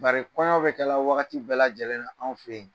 Bari kɔɲɔ bɛ kɛla wagati bɛɛlajɛlenna, anw fɛ yan.